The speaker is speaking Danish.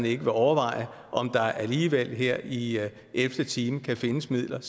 ikke vil overveje om der alligevel her i elvte time kan findes midler